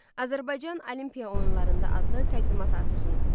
Azərbaycan Olimpiya oyunlarında adlı təqdimat hazırlayın.